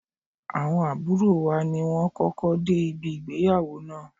Awon aburo wa ni won koko de ibi igbeyawo naa